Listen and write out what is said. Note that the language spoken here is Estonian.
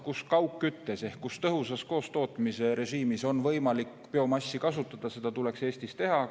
Kus kaugküttes, tõhusas koostootmisrežiimis on võimalik biomassi kasutada, seal tuleks seda Eestis maksimaalselt kasutada.